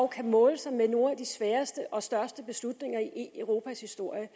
kan måle sig med nogle af de sværeste og største beslutninger i europas historie